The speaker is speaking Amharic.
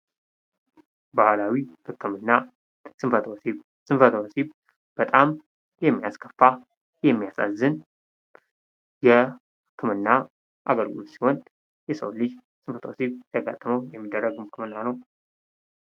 ባህላዊ ህክምና ፦ ስንፈተ ወሲብ ፦ ስንፈተ ወሲብ በጣም የሚያስከፋ ፣ የሚያሳዝን የህክምና አገልግሎት ሲሆን የሰው ልጅ ስልፈተ ወሲብ ሲያጋጥመው የሚደረግ ህክምና ነው ።